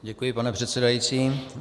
Děkuji, pane předsedající.